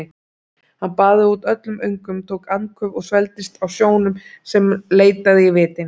Hann baðaði út öllum öngum, tók andköf og svelgdist á sjónum sem leitaði í vitin.